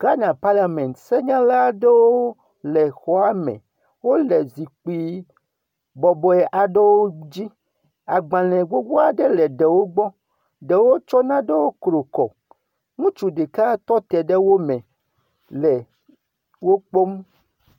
Ghana paliamɛti, senyala aɖewo le xɔame. Wole zikpi bɔbɔe aɖewo dzi. Agbalẽ gbogbo aɖe le ɖewo gbɔ. Ɖewo tsɔ nanewo kru kɔ. Ŋutsu ɖeka tɔ te ɖe wo me le wo kpɔm